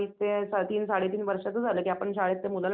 हो हो ह्याचं महिन्यात भरते